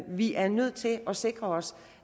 vi er nødt til at sikre os